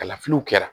Kalafiliw kɛra